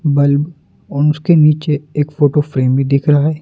Bulb और उसके नीचे एक फोटो फ्रेम भी दिख रहा है।